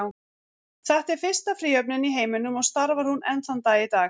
Þetta er fyrsta fríhöfnin í heiminum og starfar hún enn þann dag í dag.